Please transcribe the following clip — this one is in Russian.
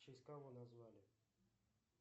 в честь кого назвали